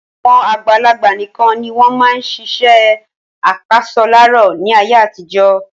Àwọn àgbàlagbà nikan ni wọn máa ń ṣiṣẹ́ apasọláró ni àyè àtijọ́